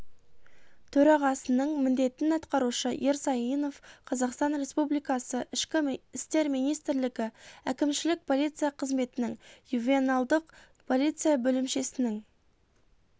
төрағасының міндетін атқарушы ерсаинов қазақстан республикасы ішкі істер министрлігі әкімшілік полиция комитетінің ювеналдық полиция бөлімшесінің